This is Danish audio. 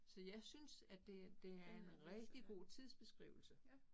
Så jeg synes, at det det er en rigtig god tidsbeskrivelse